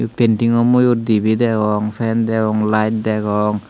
paintingo moyut dibey degong fan degong layet degong.